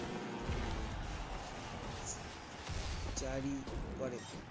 জারি করেন